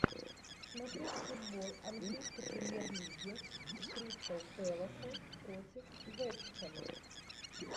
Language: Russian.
смотреть футбол английской премьер лиги кристал пэласа против вест хэма